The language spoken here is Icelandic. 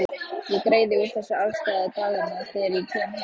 Ég greiði úr þessu afstæði daganna þegar ég kem heim.